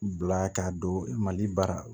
Bila ka don mali baara